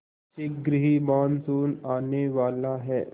शीघ्र ही मानसून आने वाला है